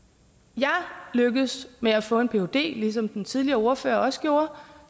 jeg lykkedes med at få en phd ligesom den tidligere ordfører også gjorde